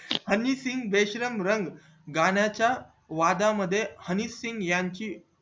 हनी सिघ बेशरम रंग गण्या च्या वादा मध्ये हनी सिघ याची